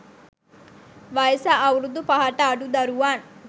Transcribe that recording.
වයස අවුරුදු පහට අඩු දරුවන්